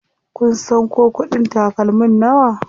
Kun san ko kuɗin takalmin nawa?